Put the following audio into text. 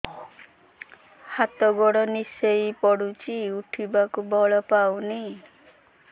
ହାତ ଗୋଡ ନିସେଇ ପଡୁଛି ଉଠିବାକୁ ବଳ ପାଉନି